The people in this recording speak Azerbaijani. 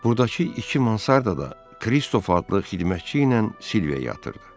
Burdakı iki Mansarda da Kristof adlı xidmətçi ilə Silviya yatırdı.